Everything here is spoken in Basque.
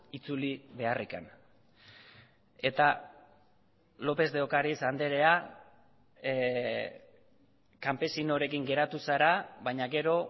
itzuli beharrik eta lopez de ocariz andrea kanpesinorekin geratu zara baina gero